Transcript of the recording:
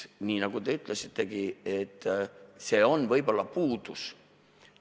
Nagu te ütlesitegi, see on võib-olla puudus.